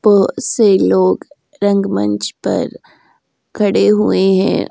बहुत से लोग रंगमंच पर खड़े हुए हैं।